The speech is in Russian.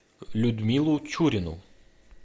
людмилу чурину